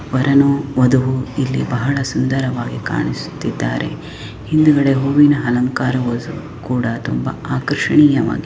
ವರನು ವಧುವು ಇಲ್ಲಿ ಬಹಳ ಸುಂದರವಾಗಿ ಕಾಣಿಸುತ್ತಿದ್ದಾರೆ ಹಿಂದುಗಡೆ ಹೂವಿನ ಅಲಂಕಾರವು ತುಂಬ ಆಕರ್ಷಣೀಯವಾಗಿ --